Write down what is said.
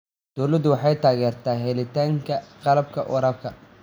Dawladdu waxay taageertaa helitaanka qalabka waraabka.